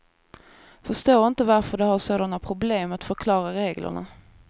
Förstår inte varför de har sådana problem att förklara reglerna.